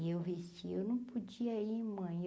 E eu vesti, eu não podia ir, mãe.